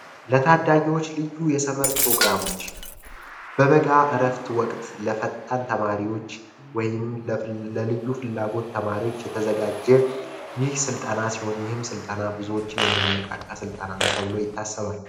በታዳጊዎች ልዩ የሰመር ፕሮግራሞች በበቃ እረፍት ወቅት ለፈጣን ተማሪዎች ወይንም ለልዩ ፍላጎት ተማሪዎች የተዘጋጀ ስልጠና ሲሆን ይህም ስልጠና ብዙዎችን የሚያነቃ ስልጣን ነው ተብሎ ይታሰባል